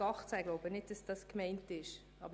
Ich denke aber nicht, dass dies damit gemeint war ...